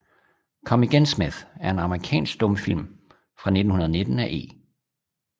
Kom igen Smith er en amerikansk stumfilm fra 1919 af E